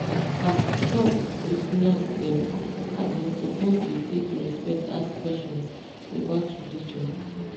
ah doc with nurse dem as in suppose dey take respect ask questions about religion.